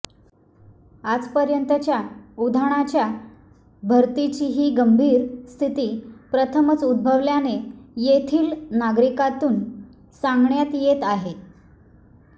आजपर्यंतच्या उधाणाच्या भरतीची ही गंभीर स्थिती प्रथमच उद्भवल्याचे येथील नागरिकांतून सांगण्यात येत आहे